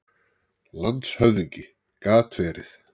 LANDSHÖFÐINGI: Gat verið.